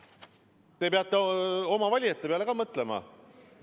Te peate oma valijate peale ka mõtlema.